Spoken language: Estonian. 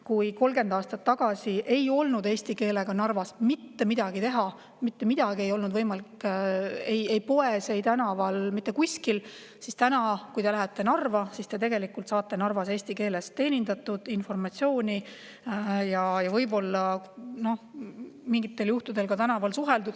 30 aastat tagasi ei olnud eesti keelega Narvas mitte midagi teha – mitte midagi ei olnud võimalik teha ei poes ega tänaval, mitte kuskil –, aga kui te täna lähete Narva, siis te saate seal eesti keeles teenindatud, informatsiooni ja võib-olla mingitel juhtudel ka tänaval suheldud.